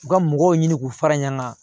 U ka mɔgɔw ɲini k'u fara ɲɔn kan